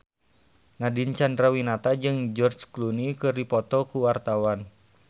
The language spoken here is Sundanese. Nadine Chandrawinata jeung George Clooney keur dipoto ku wartawan